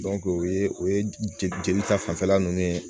o ye o ye jeli ta fanfɛla nunnu ye